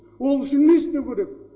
ол үшін не істеу керек